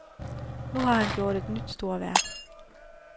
Nu har han gjort et nyt storværk.